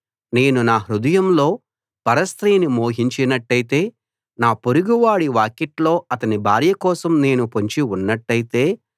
నేను హృదయంలో పరస్త్రీని మోహించినట్టయితే నా పొరుగువాడి వాకిట్లో అతని భార్య కోసం నేను పొంచి ఉన్నట్టయితే